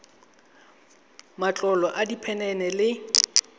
matlolo a diphen ene le